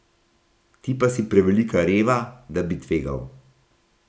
Ti pa si prevelika reva, da bi tvegal.